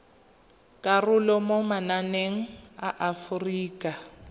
karolo mo mananeng a aforika